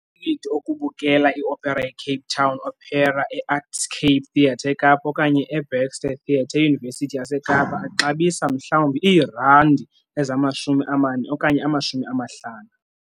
Amatikiti okubukele i-opera yeCape Town Opera eArtscape Theatre eKapa okanye eBaxter Theatre eYunivesithi yaseKapa axabisa mhlawumbi iirandi ezamashumi amane okanye amashumi amahlanu.